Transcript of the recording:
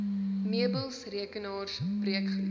meubels rekenaars breekgoed